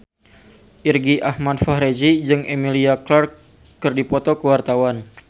Irgi Ahmad Fahrezi jeung Emilia Clarke keur dipoto ku wartawan